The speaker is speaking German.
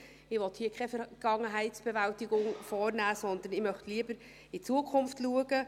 Ich will hier keine Vergangenheitsbewältigung vornehmen, sondern ich will lieber in die Zukunft blicken.